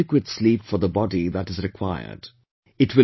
Ensure adequate sleep for the body that is required